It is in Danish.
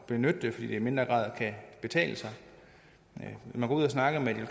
benytte det fordi det i mindre grad kan betale sig når man går ud og snakker med